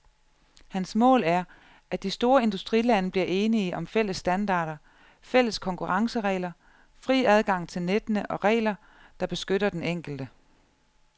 Hans mål er, at de store industrilande bliver enige om fælles standarder, fælles konkurrenceregler, fri adgang til nettene og regler, der beskytter den enkelte.